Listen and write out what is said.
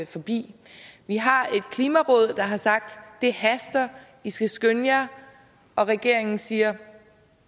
forbi vi har et klimaråd der har sagt det haster i skal skynde jer og regeringen siger